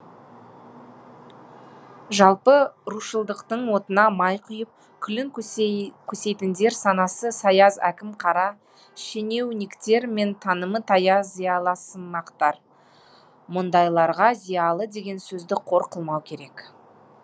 жалпы рушылдықтың отына май құйып күлін көсейтіндер санасы саяз әкім қара щенеуниктер мен танымы таяз зиялысымақтар мұндайларға зиялы деген сөзді қор қылмау керек